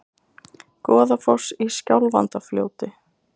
Goðafoss í Skjálfandafljóti.